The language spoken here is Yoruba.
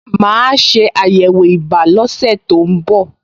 Màá ṣe àyẹ̀wò ibà lọ́sẹ̀ tó ń bọ̀